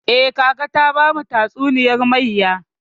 Eh, kaka ta bamu tatsuniyar mayya.